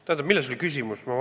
Tähendab, milles oli küsimus?